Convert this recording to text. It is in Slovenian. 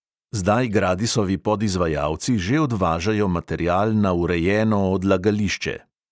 Zdaj gradisovi podizvajalci že odvažajo material na urejeno odlagališče.